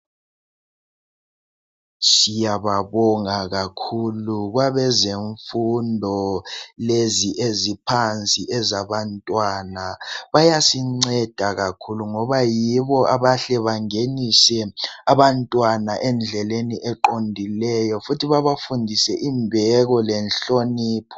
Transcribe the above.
Siyababonga kakhulu kwabezemfundo lezi eziphansi ezabantwana, bayasinceda kakhulu ngoba yibo abahle bangenise abantwana endleleni eqondileyo futhi bebafundise imbeko lenhlonipho.